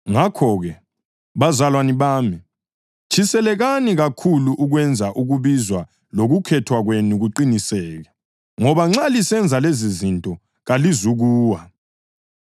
Ngakho-ke, bazalwane bami, tshisekelani kakhulu ukwenza ukubizwa lokukhethwa kwenu kuqiniseke. Ngoba nxa lisenza lezizinto kalizukuwa,